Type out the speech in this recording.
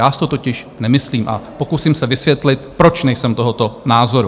Já si to totiž nemyslím a pokusím se vysvětlit, proč nejsem tohoto názoru.